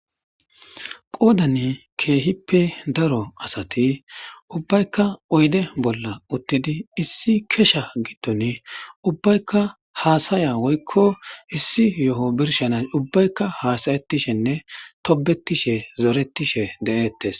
qoodani keehippe daro asati ubbaykka oyde bolla uttidi issi kesha gidton ubbaykka haasaya woykko issi yo7o birshanas ubbaykka haasayetishenne tobetishe zoretishe de7ettes